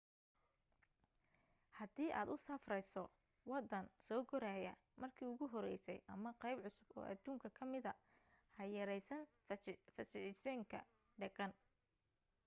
hadii aad u safrayso waddan soo koraya markii ugu horeysay ama qayb cusub oo adduunka ka mida ha yaraysan fajacisooyinka dhaqan